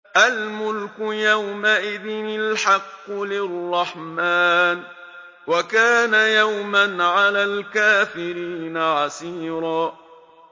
الْمُلْكُ يَوْمَئِذٍ الْحَقُّ لِلرَّحْمَٰنِ ۚ وَكَانَ يَوْمًا عَلَى الْكَافِرِينَ عَسِيرًا